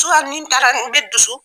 nin taara n bɛ dusu